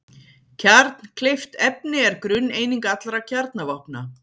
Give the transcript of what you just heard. kjarnkleyft efni er grunneining allra kjarnavopna